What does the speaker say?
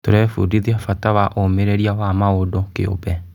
Tũrebundithia bata wa ũmĩrĩrĩa wa mũndũ kĩũmbe.